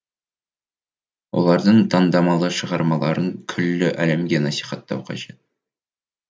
олардың таңдамалы шығармаларын күллі әлемге насихаттау қажет